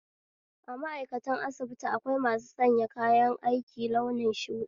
A ma'aikatan asibiti akwai masu sanya kayan aiki launin shuɗi